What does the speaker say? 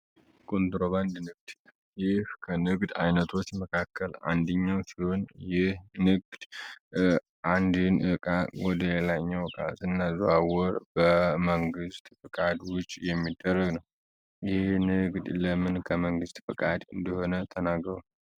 ኮንትሮባንድ ንግድ ይህ ከንግድ አይነቶች ውስጥ አንድኛው ሲሆን ይህ ንግድ አንድኛውን እቃ ወደሌላኛው ስናዘዋውር በመንግሥት ፍቃድ ውጪ የሚደረግ ነው። ይህ ንግድ ለምን ከመንግሥት ፈቃድ ውጪ እንደሆነ ተናገሩ?